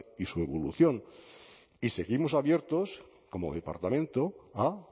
y su evolución y seguimos abiertos como departamento a